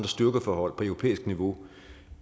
styrkeforhold på europæisk niveau